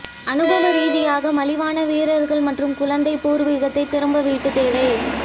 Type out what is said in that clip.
அனுபவ ரீதியாக மலிவான வீரர்கள் மற்றும் குழந்தை பூர்வீகத்தை திரும்ப வீட்டு தேவை